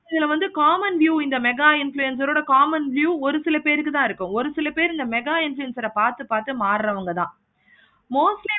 இதுல வந்து common view இந்த mega influencer ஓட common view ஒரு சில பேருக்கு தான் இருக்கும். ஒரு சில பேரு இந்த mega influencer ஆஹ் பார்த்து பார்த்து பார்த்து மாறுறவங்க தான் mostly